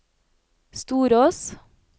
Storås